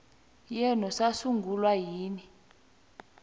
yenu sasungulwa nini